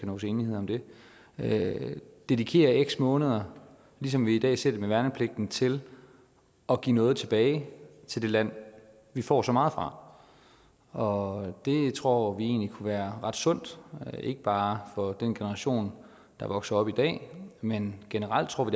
nås enighed om det dedikerer x måneder ligesom vi i dag ser det med værnepligten til at give noget tilbage til det land vi får så meget fra og det tror vi egentlig kunne være ret sundt ikke bare for den generation der vokser op i dag men generelt tror